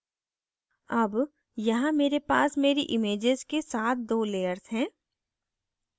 अब यहाँ मेरे पास मेरी images के साथ दो layers हैं